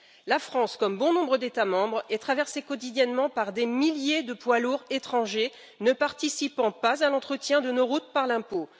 La France, comme bon nombre d'États membres, est traversée quotidiennement par des milliers de poids lourds étrangers ne participant pas à l'entretien de nos routes par l'impôt.